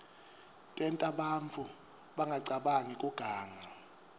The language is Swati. tenta bantfu bangacabangi kuganga